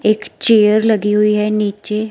एक चेयर लगी हुई है नीचे।